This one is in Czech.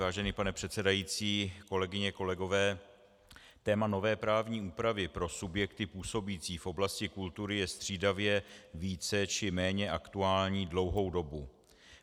Vážený pane předsedající, kolegyně, kolegové, téma nové právní úpravy pro subjekty působící v oblasti kultury je střídavě více či méně aktuální dlouhou dobu.